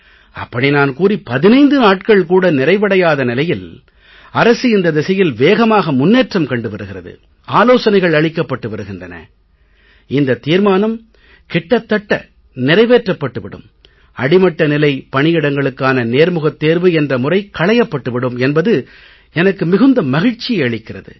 அப்படி நான் கூறி 15 நாட்கள் கூட நிறைவடையாத நிலையில் அரசு இந்த திசையில் வேகமாக முன்னேற்றம் கண்டு வருகிறது ஆலோசனைகள் அளிக்கப்பட்டு வருகின்றன இந்த தீர்மானம் கிட்டத்தட்ட நிறைவேற்றப்பட்டு விடும் அடிமட்ட நிலை பணியிடங்களுக்கான நேர்முகத் தேர்வு என்ற முறை களையப்பட்டு விடும் என்பது எனக்கு மிகுந்த மகிழ்ச்சியை அளிக்கிறது